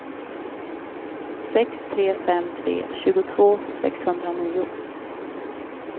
sex tre fem tre tjugotvå sexhundranio